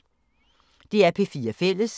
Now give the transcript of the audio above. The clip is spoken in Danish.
DR P4 Fælles